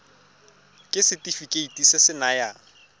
ke setefikeiti se se nayang